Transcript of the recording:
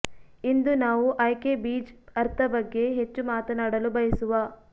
ಇಂದು ನಾವು ಆಯ್ಕೆ ಬೀಜ್ ಅರ್ಥ ಬಗ್ಗೆ ಹೆಚ್ಚು ಮಾತನಾಡಲು ಬಯಸುವ